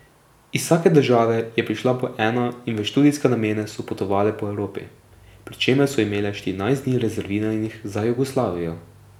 Iz vsake države je prišla po ena in v študijske namene so potovale po Evropi, pri čemer so imele štirinajst dni rezerviranih za Jugoslavijo.